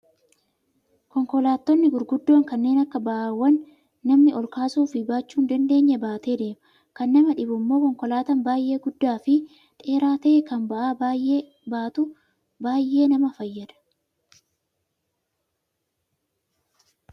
Konkolaattonni gurguddoon kanneen ba'aawwan namni ol kaasuu fi baachuu hin dandeenye baatee deema. Kan nama dhibu immoo konkolaataan baay'ee guddaa fi dheeraa ta'e kan ba'aa baay'ee baatu baay'ee nama fayyada.